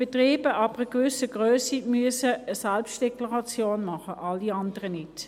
Betriebe ab einer gewissen Grösse müssen eine Selbstdeklaration machen, alle anderen nicht.